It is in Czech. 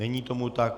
Není tomu tak.